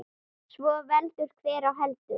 Svo veldur hver á heldur.